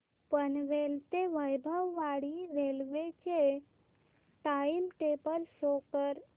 पनवेल ते वैभववाडी रेल्वे चे time table show करा